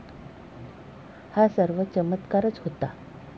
हा सर्व चमत्कारच होता.